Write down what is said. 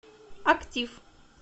актив